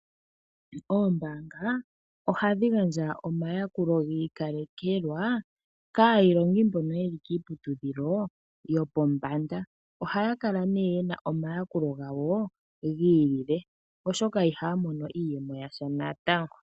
Oombaanga ohadhi gandja omayakulo giikalekelwa kaayilongi mbono yeli kiiputudhilo yopombanda. Ohaya kala ye na omayakulo gawo gi ili le oshoka ihaya mono iiyemo yasha natango.